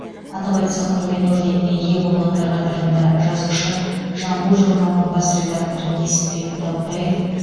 атап айтсақ құрмет орденіне ие болғандар қатарында жазушы жамбыл журналының бас редакторы несіпбек дәутаев